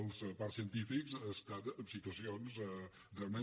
els parcs científics estan en situacions realment